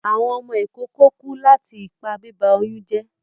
Awọn ọmọ ikoko ku lati ipa biba oyun jẹ